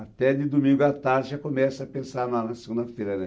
Até de domingo à tarde já começa a pensar na na segunda-feira, né?